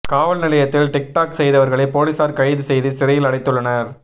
காவல்நிலையத்தில் TikTok செய்தவர்களை போலிசார் கைது செய்து சிறையில் அடைத்துள்ளனர்